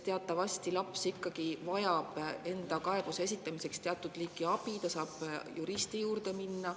Teatavasti vajab laps ikkagi teatud liiki abi enda kaebuse esitamiseks, näiteks saab ta juristi juurde minna.